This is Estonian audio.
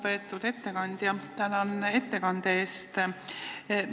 Lugupeetud ettekandja, tänan ettekande eest!